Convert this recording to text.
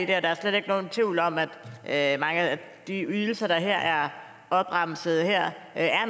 det og der er slet ikke nogen tvivl om at at mange af de ydelser der her er opremset er